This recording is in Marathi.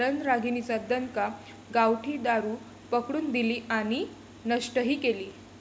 रणरागिणींचा दणका, गावठी दारू पकडून दिली आणि नष्टही केली!